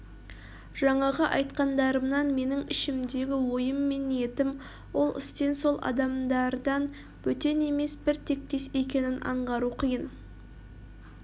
жаңағы айтқандарымнан менің ішімдегі ойым мен ниетім ол істен сол адамдардан бөтен емес бір тектес екенін аңғару қиын